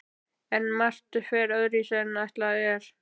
En margt fer öðruvísi en ætlað er.